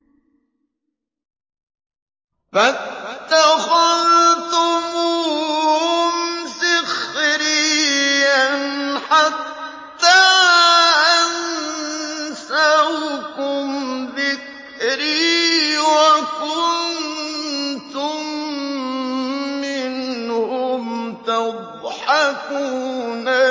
فَاتَّخَذْتُمُوهُمْ سِخْرِيًّا حَتَّىٰ أَنسَوْكُمْ ذِكْرِي وَكُنتُم مِّنْهُمْ تَضْحَكُونَ